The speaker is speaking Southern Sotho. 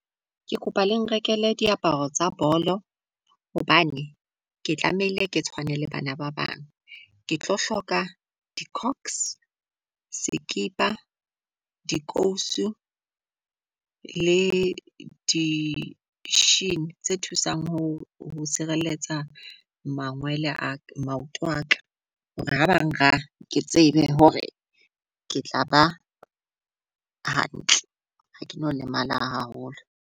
Ke kopa le nrekele diaparo tsa bolo hobane ke tlamehile ke tshwane le bana ba bang. Ke tlo hloka di-cox, sekipa, dikausu le di-sheini tse thusang ho ho sireletsa mangwele a maoto aka. Hore ha bang raha ke tsebe hore ke tla ba hantle ha ke no lemala haholo.